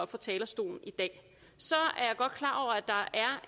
fra talerstolen i dag så